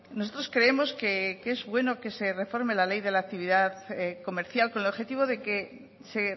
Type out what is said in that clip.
nosotros creemos que es bueno que se reforme la ley de la actividad comercial con el objetivo de que se